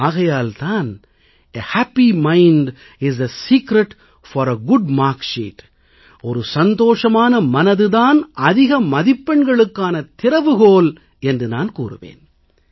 ஆகையால் தான் a happy mind is the secret for a good marksheet ஒரு சந்தோஷமான மனது தான் அதிக மதிப்பெண்களுக்கான திறவுகோல் என்று நான் கூறுவேன்